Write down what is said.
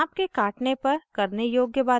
साँप के काटने पर करने योग्य bite